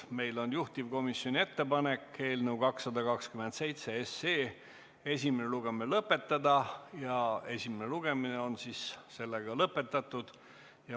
Meil on juhtivkomisjoni ettepanek eelnõu 227 esimene lugemine lõpetada ja esimene lugemine on lõpetatud.